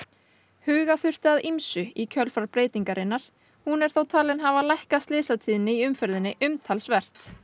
huga þurfti að ýmsu í kjölfar breytingarinnar hún er þó talin hafa lækkað slysatíðni í umferðinni umtalsvert